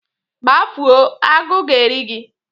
Gbafuo! Agụ ga-eri gi